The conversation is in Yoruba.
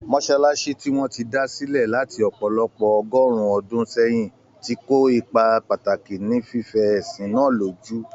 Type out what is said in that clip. Mọ́sálásí tí wọ́n ti dá sílẹ̀ láti ọ̀pọ̀lọpọ̀ ọgọ́rùn-ún ọdún sẹ́yìn, ti kó ipa pàtàkì ní fífẹ ẹ̀sìn náà lójú.